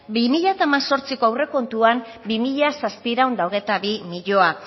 bi mila hemezortziko aurrekontuan bi mila zazpiehun eta hogeita bi milioi